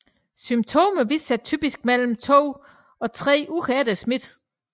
Symptomerne viser sig typisk mellem to dage og tre uger efter smitte